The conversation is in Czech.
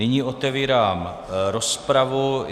Nyní otevírám rozpravu.